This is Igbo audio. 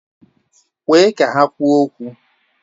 Kwe ka ha kwuo okwu!